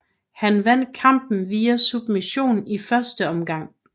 Han vandt kampen via submission i første omgang